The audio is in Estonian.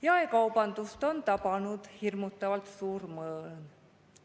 Jaekaubandust on tabanud hirmutavalt suur mõõn.